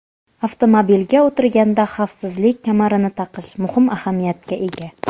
Avtomobilga o‘tirganda xavfsizlik kamarini taqish muhim ahamiyatga ega.